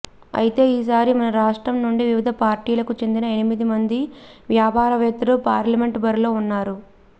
అయితే ఈ సారి మన రాష్ట్రం నుండి వివిధ పార్టీలకు చెందిన ఎనిమిది మంది వ్యాపారవేత్తలు పార్లమెంట్ బరిలో ఉన్నారు